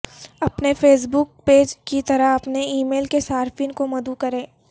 اپنے Facebook page کی طرح اپنے ای میل کے صارفین کو مدعو کریں